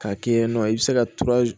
K'a kɛ yen nɔ i bɛ se ka